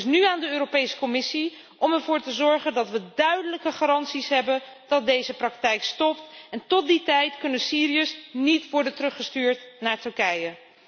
Het is nu aan de Europese Commissie om ervoor te zorgen dat we duidelijke garanties hebben dat deze praktijk stopt en tot die tijd kunnen Syriërs niet worden teruggestuurd naar Turkije.